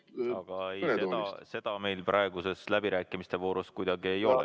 Aga seda meil praeguses läbirääkimiste voorus kuidagi ei saa.